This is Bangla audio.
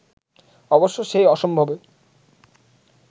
অবশ্য সেই অসম্ভবে